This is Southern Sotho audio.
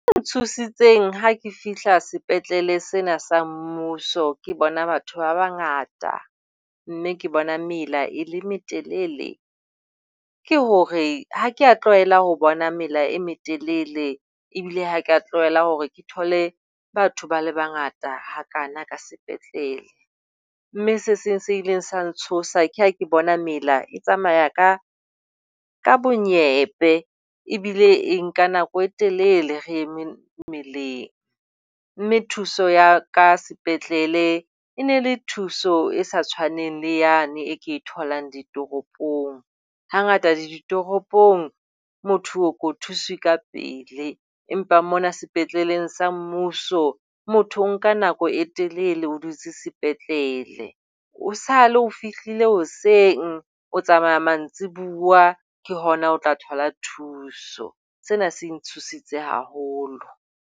Ntshositseng ha ke fihla sepetlele sena se mmuso ke ho bona batho ba bangata mme ke bona mela e le letelele, ke hore ha ke a tlwaela ho bona mela e metelele ebile ha ke a tlwaele hore ke thole batho ba le bangata hakaana ka sepetlele mme se seng se ileng sa ntshosa ke ha ke bona mela e tsamaya ka ka bonyebe. Ebile e nka nako e telele re eme meleng, mme thuso ya ka sepetlele e ne le thuso e sa tshwaneng le yane e ke e tholang ditoropong. Hangata ditoropong motho o ko thuswe ka pele, empa mona sepetleleng sa mmuso motho o nka nako e telele o dutse sepetlele. Esale o fihlile hoseng, o tsamaya mantsibua ke hona o tla thola thuso. Sena se ntshositse haholo.